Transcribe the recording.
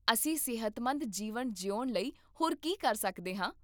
ਅਸੀਂ ਸਿਹਤਮੰਦ ਜੀਵਨ ਜਿਉਣ ਲਈ ਹੋਰ ਕੀ ਕਰ ਸਕਦੇ ਹਾਂ?